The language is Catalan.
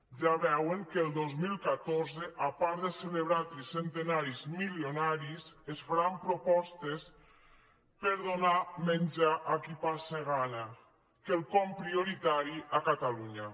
ja veuen que el dos mil catorze a part de celebrar tricentenaris milionaris es faran propostes per donar menjar a qui passa gana quelcom prioritari a catalunya